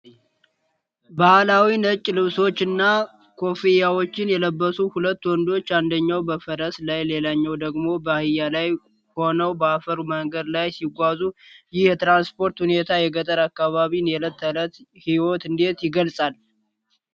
ባሕላዊ ነጭ ልብሶችንና ኮፍያዎችን የለበሱ ሁለት ወንዶች፣ አንደኛው በፈረስ ላይ ሌላኛው ደግሞ በአህያ ላይ ሆነው በአፈር መንገድ ላይ ሲጓዙ፣ ይህ የትራንስፖርት ሁኔታ የገጠር አካባቢን የዕለት ተዕለት ሕይወት እንዴት ይገልጻል?